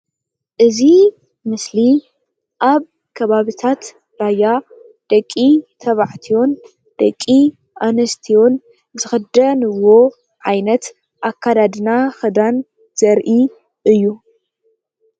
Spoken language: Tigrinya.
እዚ ምስሊ ኣብ ከባብታት ራያ ደቂ-ተባዕትዮን ደቂ-ኣንስትዮን ዝክደንዎ ዓይነት ኣከዳድና ክዳን ዘርኢ እዩ።